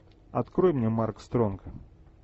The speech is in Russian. открой мне марк стронг